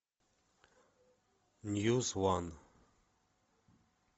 ньюс уан